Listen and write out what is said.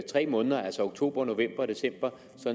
tre måneder altså oktober november og december